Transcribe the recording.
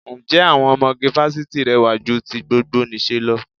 Ǹjẹ́ àwọn ọmọge fásitì rẹwà ju ti gbogbonìṣe lọ?